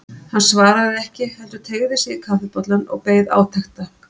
Hann svaraði ekki heldur teygði sig í kaffibollann og beið átekta.